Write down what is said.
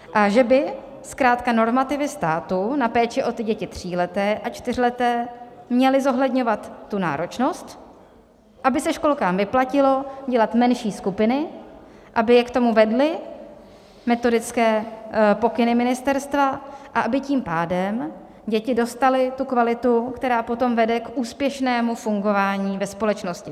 A že by zkrátka normativy státu na péči o ty děti tříleté a čtyřleté měly zohledňovat tu náročnost, aby se školkám vyplatilo dělat menší skupiny, aby je k tomu vedly metodické pokyny ministerstva a aby tím pádem děti dostaly tu kvalitu, která potom vede k úspěšnému fungování ve společnosti.